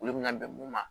Olu bina bɛn mun ma